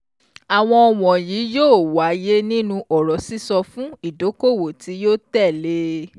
Àwọn wọ̀nyí yóò wáyé nínú ọ̀rọ̀ sísọ fún ìdókòwò tí yóò tẹ̀lé.